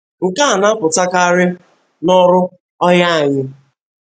Nke a na-apụtakarị n'ọrụ ọha anyị.